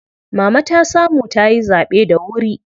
Mama ta samu tayi zaɓe da wuri.